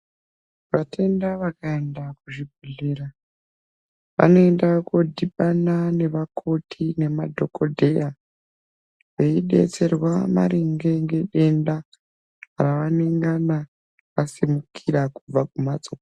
Vatenda vakaenda kuzvibhedhlera vanoenda kodhibana nevak nemadhokodheya veidetserwa maringe ngedenda ravanengana vasimukira kubva kumhatso .